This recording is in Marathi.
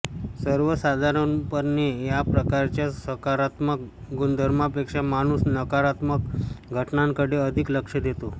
सर्वसाधारणपणे या प्रकारच्या सकारात्मक गुणधर्मापेक्षा माणूस नकारात्मक घटनांकडे अधिक लक्ष देतो